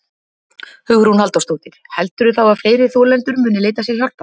Hugrún Halldórsdóttir: Heldurðu þá að fleiri þolendur muni leita sér hjálpar?